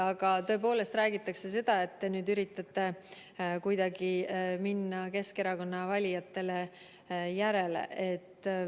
Aga tõepoolest räägitakse seda, et te üritate kuidagi minna Keskerakonna valijatele järele.